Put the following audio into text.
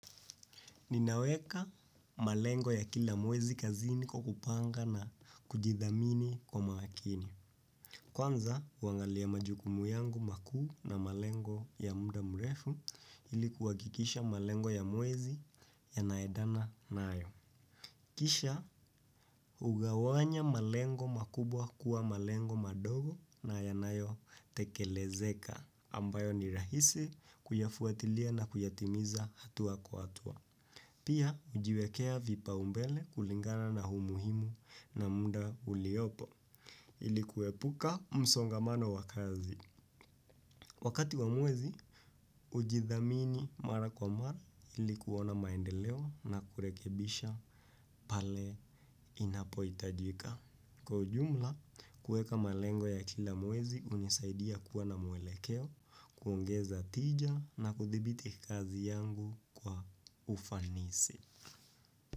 Ninaweka malengo ya kila mwezi kazini kwa kupanga na kujidhamini kwa makini. Kwanza, huangalia majukumu yangu makuu na malengo ya muda mrefu ili kuhakikisha malengo ya mwezi yanaendana nayo. Kisha, hugawanya malengo makubwa kuwa malengo madogo na yanayo tekelezeka ambayo ni rahisi kuyafuatilia na kuyatimiza hatua kwa hatua. Pia hujiwekea vipaumbele kulingana na umuhimu na muda uliopo ili kuepuka msongamano wa kazi. Wakati wa mwezi, hujidhamini mara kwa mara ili kuona maendeleo na kurekebisha pale inapohitajika. Kwa ujumla, kueka malengo ya kila mwezi hunisaidia kuwa na mwelekeo, kuongeza tija na kuthibiti kazi yangu kwa ufanisi.